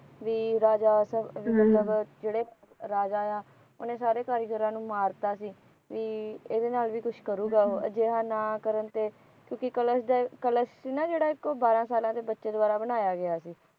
B ਰਾਜਾ ਮਤਲਬ ਜਿਹੜਾ ਰਾਜਾ ਆ ਉਹਨੇ ਸਾਰੇ ਕਾਰੀਗਰਾਂ ਨੂੰ ਮਾਰਤਾ ਸੀ ਬੀ ਇਹਦੇ ਨਾਲ ਵੀ ਕੁਛ ਕਰੂਗਾਂ ਉਹ ਅਜਿਹਾ ਨਾ ਕਰਨ ਤੇ ਕਿਉਕਿ ਕਲਸ਼ ਸੀ ਗਾ ਨਾ ਉਹ ਇਕ ਬਾਹਰਾ ਸਾਲ ਦੇ ਬੱਚੇ ਦੁਆਰਾ ਬਣਾਇਆ ਗਿਆ ਸੀ